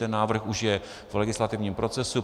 Ten návrh už je v legislativním procesu.